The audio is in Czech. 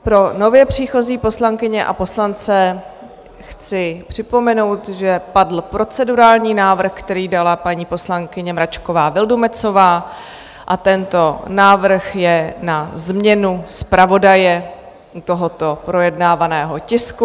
Pro nově příchozí poslankyně a poslance chci připomenout, že padl procedurální návrh, který dala paní poslankyně Mračková Vildumetzová, a tento návrh je na změnu zpravodaje tohoto projednávaného tisku.